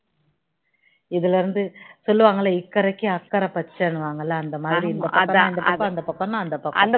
இதுல இருந்து சொல்லுவாங்கள இக்கைறைக்கு அக்கறை பச்சைன்னு சொல்லுவாங்கள அந்த மாதிரி அந்த பக்கம்னா அந்த பக்கம் தான்